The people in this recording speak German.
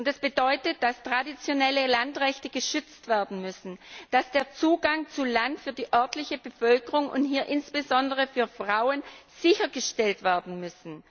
Das bedeutet, dass traditionelle Landrechte geschützt werden müssen, dass der Zugang zu Land für die örtliche Bevölkerung, insbesondere für Frauen, sichergestellt werden muss.